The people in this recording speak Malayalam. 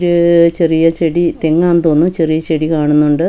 ഇത് ചെറിയ ചെടി തെങ്ങാ തോന്നുന്നു ചെറിയ ചെടി കാണുന്നുണ്ട് അ--